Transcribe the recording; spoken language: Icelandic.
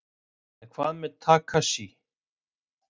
En hvað með Takashi?